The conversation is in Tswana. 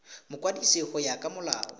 mokwadisi go ya ka molao